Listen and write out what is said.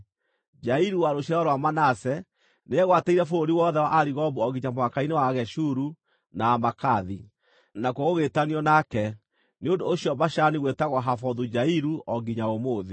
Jairu, wa rũciaro rwa Manase, nĩegwatĩire bũrũri wothe wa Arigobu o nginya mũhaka-inĩ wa Ageshuru na Amaakathi; nakuo gũgĩĩtanio nake, nĩ ũndũ ũcio Bashani gwĩtagwo Havothu-Jairu o nginya ũmũthĩ.)